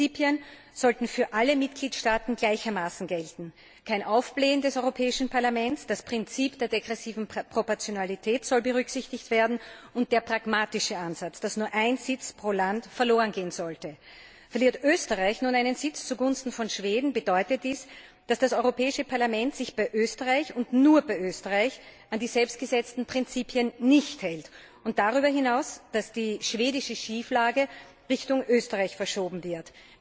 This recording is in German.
Diese Prinzipien sollten für alle Mitgliedstaaten gleichermaßen gelten kein Aufblähen des Europäischen Parlaments, Berücksichtigung des Prinzips der degressiven Proportionalität und der pragmatische Ansatz, dass nur ein Sitz pro Land verlorengehen sollte. Verliert Österreich nun einen Sitz zugunsten von Schweden, bedeutet dies, dass das Europäische Parlament sich bei Österreich und nur bei Österreich nicht an die selbst gesetzten Prinzipien hält, und darüber hinaus, dass die schwedische Schieflage Richtung Österreich verschoben wird.